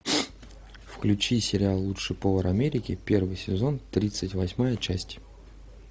включи сериал лучший повар америки первый сезон тридцать восьмая часть